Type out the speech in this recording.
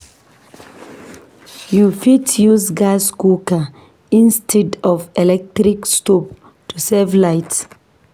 You fit use gas cooker instead of electric stove to save light.